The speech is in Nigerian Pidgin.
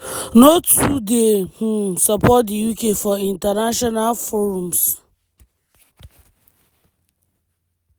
no too dey um support di uk for international forums.